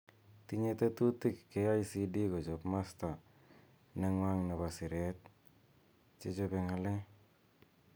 Tinye tetutik KICD kochob masta nengw'ang nebo siret chechobe ng'alek.